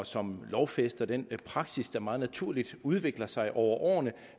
som lovfæster den praksis der meget naturligt udvikler sig over årene